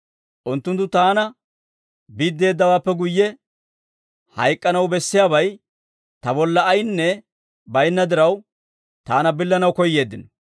Unttunttu taana biddeeddawaappe guyye, hayk'k'anaw bessiyaabay ta bolla ayinne bayinna diraw, taana billanaw koyyeeddino.